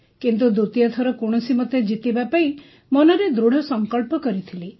କିନ୍ତୁ ଦ୍ୱିତୀୟ ଥର କୌଣସିମତେ ଜିତିବା ପାଇଁ ମନରେ ଦୃଢ଼ସଂକଳ୍ପ କରୁଥିଲି